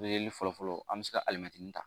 Bereli fɔlɔfɔlɔ an bɛ se ka alimɛtiri ta